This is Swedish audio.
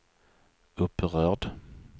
upprörd